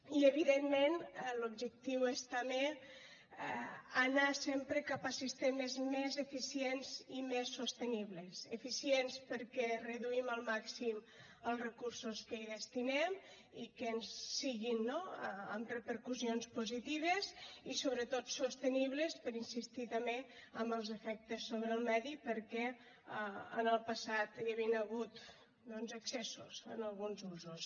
i evidentment l’objectiu és també anar sempre cap a sistemes més eficients i més sostenibles eficients perquè reduïm al màxim els recursos que hi destinem i que siguin no amb repercussions positives i sobretot sostenibles per insistir també en els efectes sobre el medi perquè en el passat hi havien hagut doncs excessos en alguns usos